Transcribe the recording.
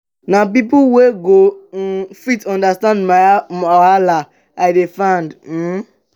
na pipo wey go um fit understand my wahala i dey find. um